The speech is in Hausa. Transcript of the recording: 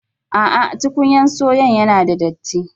No, tukumya sayon yana da datti.